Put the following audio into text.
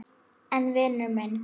En vinur minn.